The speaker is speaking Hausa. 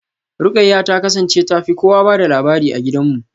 Ruqayyah ta kasance ta fi kowa ba da labari a gidanmu.